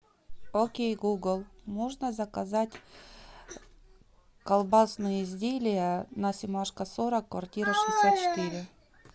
окей гугл можно заказать колбасные изделия на семашко сорок квартира шестьдесят четыре